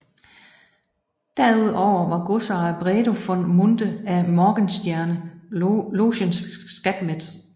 Derudover var godsejer Bredo von Munthe af Morgenstierne logens skatmester